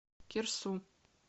кирсу